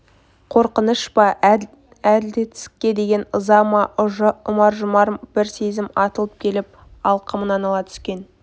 қорқыныш па әділетсіздікке деген ыза ма ұмар-жұмар бір сезім атылып келіп алқымынан ала түскен